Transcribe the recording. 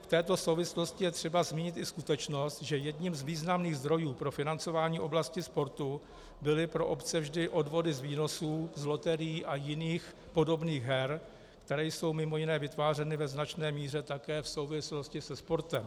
V této souvislosti je třeba zmínit i skutečnost, že jedním z významných zdrojů pro financování oblasti sportu byly pro obce vždy odvody z výnosů z loterií a jiných podobných her, které jsou mimo jiné vytvářeny ve značné míře také v souvislosti se sportem.